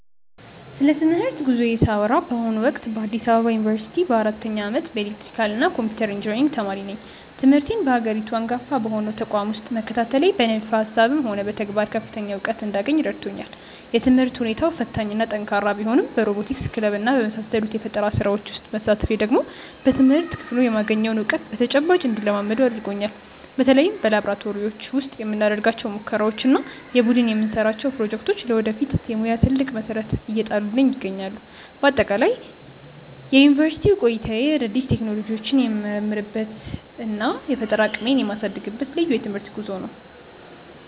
ስለ ትምህርት ጉዞዬ ሳወራ በአሁኑ ወቅት በአዲስ አበባ ዩኒቨርሲቲ በአራተኛ ዓመት የኤሌክትሪካልና ኮምፒውተር ኢንጂነሪንግ ተማሪ ነኝ። ትምህርቴን በሀገሪቱ አንጋፋ በሆነው ተቋም ውስጥ መከታተሌ በንድፈ ሃሳብም ሆነ በተግባር ከፍተኛ እውቀት እንዳገኝ ረድቶኛል። የትምህርት ሁኔታው ፈታኝና ጠንካራ ቢሆንም በሮቦቲክስ ክለብና በመሳሰሉት የፈጠራ ስራዎች ውስጥ መሳተፌ ደግሞ በትምህርት ክፍሉ የማገኘውን እውቀት በተጨባጭ እንድለማመደው አድርጎኛል። በተለይ በላብራቶሪዎች ውስጥ የምናደርጋቸው ሙከራዎችና የቡድን የምንሰራቸው ፕሮጀክቶች ለወደፊት የሙያ ትልቅ መሰረት እየጣሉልኝ ይገኛሉ። በአጠቃላይ የዩኒቨርሲቲ ቆይታዬ አዳዲስ ቴክኖሎጂዎችን የምመረምርበትና የፈጠራ አቅሜን የማሳድግበት ልዩ የትምህርት ጉዞ ነው።